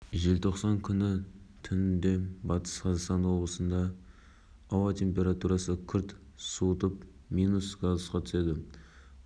астана желтоқсан қаз атырау және батыс қазақстан облыстарында ауа температурасы күрт суытуына байланысты дауылдық ескерту жарияланды деп